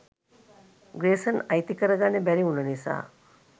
ග්‍රේසන් අයිති කරගන්න බැරිවුන නිසා